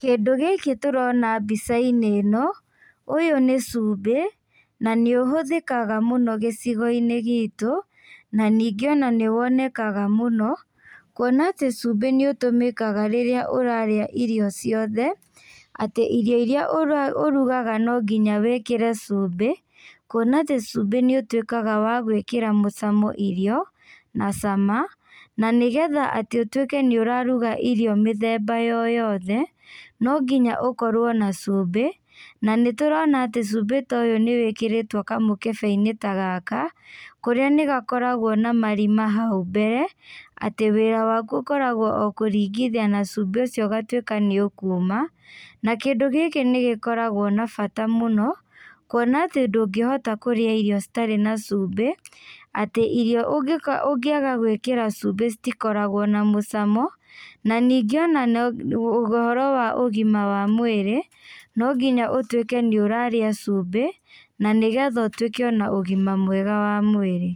Kĩndũ gĩkĩ tũrona mbicainĩ ĩno, ũyũ nĩ cumbĩ, na nĩũhũthĩkaga mũno gĩcigoinĩ gitũ, na ningĩ ona nĩwonekaga mũno, kuona atĩ cumbĩ nĩũtũmĩkaga rĩrĩa ũrarĩa irio ciothe, atĩ irio iria ũra ũrugaga no nginya wĩkĩre cumbĩ, kuona atĩ cumbĩ nĩũtuĩkaga wa gwĩkĩra mũcamo irio, na cama, na nĩgetha atĩ ũtuĩke nĩũraruga irio mĩthemba yoyothe, nonginya ũkorwo na cumbĩ, na nĩtũrona atĩ cumbĩ ta ũyũ nĩwĩkĩrĩtwo kamũkebeinĩ ta gaka, kũrĩa nĩgakoragwo na marima hau mbere, atĩ wĩra waku ũkoragwo o kũringithia na cumbĩ ũgatuĩka nĩũkuma, na kĩndũ gĩkĩ nĩgĩkoragwo na bata mũno, kuona atĩ ndũngĩhota kũrĩa irio citarĩ na cumbĩ, atĩ irio ũngĩ ũngĩaga gwĩkĩra cumbĩ citikoragwo na mũcamo, na ningĩ no ũhoro ũgima wa mwĩrĩ, no nginya ũtuĩke nĩ ũrarĩa cumbĩ, na nĩgetha ũtuĩke ona ũgima mwega wa mwĩrĩ.